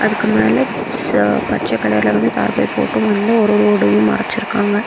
அதுக்கு மேல பச்ச கலர்ல வந்து தார்பாய் போட்டு வந்து ஒரோரு ஒடையும் மறைச்யிருக்காங்க.